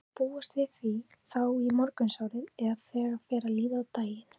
Má búast við því þá í morgunsárið eða þegar fer að líða á daginn?